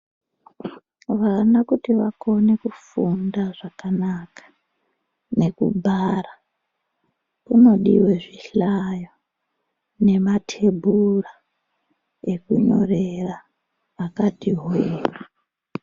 Vana kuti vakone kufunda zvakanaka nekugara kunodiwe zvihlaya nematebhura ekunyorera akati hwee.